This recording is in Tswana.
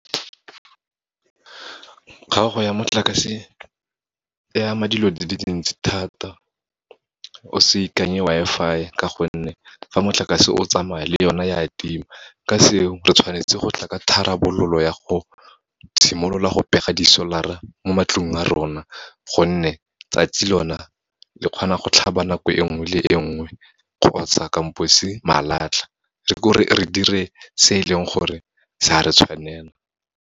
Kgaogo ya motlakase e ama dilo di dintsi thata, o se ikanye Wi-Fi ka gonne, fa motlakase o tsamaya le yona ya tima. Ka seo, re tshwanetse go tla ka tharabololo ya go simolola go pega di solar-a mo matlong a rona, gonne tsatsi lona le kgona go tlhaba nako e nngwe le e nngwe, kgotsa malatlha, re dire se e leng gore sa re tshwanela.